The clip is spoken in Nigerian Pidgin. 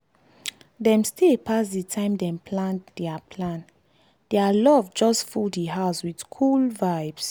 dem stay pass the time dem plan dia plan dia love just full di house wit cool vibes